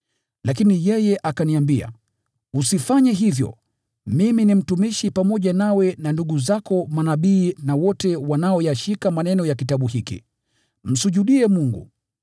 Lakini yeye akaniambia, “Usifanye hivyo! Mimi ni mtumishi pamoja nawe na ndugu zako manabii na wote wanaoyashika maneno ya kitabu hiki. Msujudie Mungu!”